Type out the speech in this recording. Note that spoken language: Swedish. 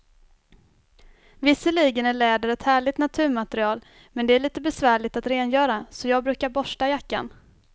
Visserligen är läder ett härligt naturmaterial, men det är lite besvärligt att rengöra, så jag brukar borsta jackan.